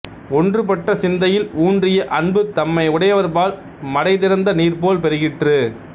ஒன்றுபட்ட சிந்தையில் ஊன்றிய அன்பு தம்மை உடையவர்பால் மடைதிறந்த நீர்போல் பெருகிற்று